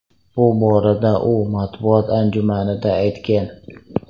Bu borada u matbuot anjumanida aytgan.